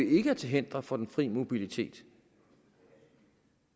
ikke er til hinder for den fri mobilitet